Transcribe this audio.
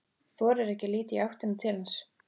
Þorir ekki að líta í áttina til hans.